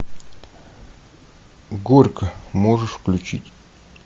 горько можешь включить